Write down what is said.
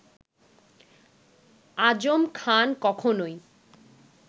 আজম খান কখনওই